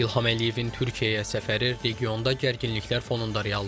İlham Əliyevin Türkiyəyə səfəri regionda gərginliklər fonunda reallaşırdı.